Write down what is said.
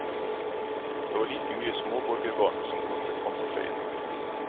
Det var like mye småborgerbarn som kastet tvangstrøyene.